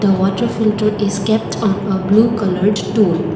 a water filter is kept on a blue coloured stool.